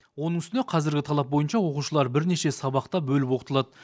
оның үстіне қазіргі талап бойынша оқушылар бірнеше сабақта бөліп оқытылады